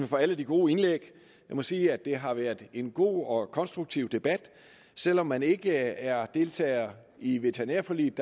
for alle de gode indlæg jeg må sige at det har været en god og konstruktiv debat selv om man ikke er deltager i veterinærforliget